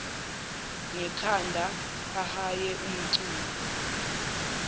ngekhanda ahaye umculo